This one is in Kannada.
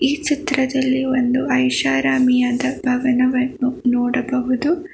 ಈ ಚಿತ್ರದಲ್ಲಿ ಒಂದು ಐಷಾರಾಮಿಯಾದ ಭವನನ್ನು ನೋಡಬಹುದು.